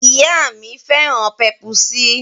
Ìyá mi féràn pèp̀usí.